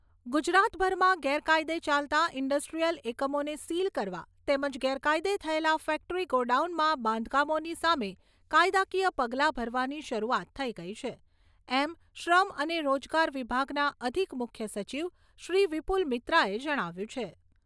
ગુજરાતભરમાં ગેરકાયદે ચાલતા ઇન્ડસ્ટ્રીયલ એકમોને સીલ કરવા તેમજ ગેરકાયદે થયેલા ફેક્ટરી ગોડાઉનનાં બાંધકામોની સામે કાયદાકીય પગલા ભરવાની શરૂઆત થઈ ગઈ છે એમ શ્રમ અને રોજગાર વિભાગનાં અધિક મુખ્ય સચિવ શ્રી વિપુલ મિત્રાએ જણાવ્યું છે.